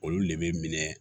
Olu le bɛ minɛ